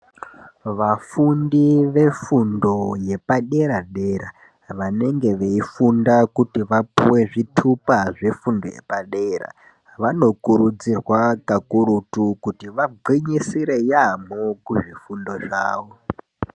Vafundi ve fundo yepa dera dera vanenge vei funda kuti vapuwe zvitupa zve fundo yepa dera vano kurudzirwa kakurutu kuti va gwinyisire yamho kuzvi fundo zvawo.